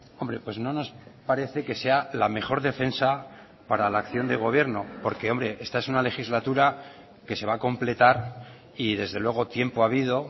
hombre pues no nos parece que sea la mejor defensa para la acción de gobierno porque esta es una legislatura que se va a completar y desde luego tiempo ha habido